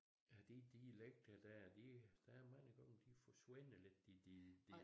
At de dialekter dér de der er mange gange de forsvinder lidt de de